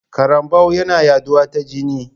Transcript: Karambau yana yaɗuwa ta jini.